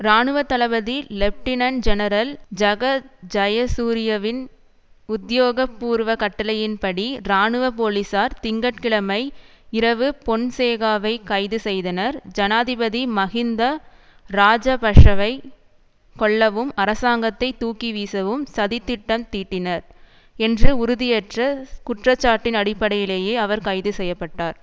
இராணுவ தளபதி lieutenant general Jagath ஜயசூரியவின் உத்தியோகபூர்வ கட்டளையின் படி இராணுவ போலிசார் திங்க கிழமை இரவு பொன்சேகாவை கைது செய்தனர் ஜனாதிபதி மஹிந்த இராஜபஷவை கொல்லவும் அரசாங்கத்தை தூக்கி வீசவும் சதித்தித் திட்டம் தீட்டினார் என்ற உறுதியற்ற குற்றச்சாட்டின் அடிப்படையிலேயே அவர் கைது செய்ய பட்டார்